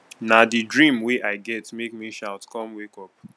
na di dream wey i get make me shout com wake up